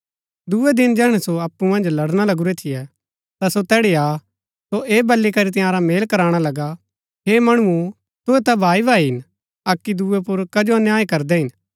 दूये दिन जैहणै सो अप्पु मन्ज लड़णा लगुरै थियै ता सो तैड़ी आ ता सो ऐह बली करी तंयारा मेल कराणा लगा हे मणुओ तुहै ता भाई भाई हिन अक्की दूये पुर कजो अन्याय करदै हिन